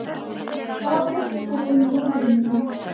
Hvað veist þú um móður mína?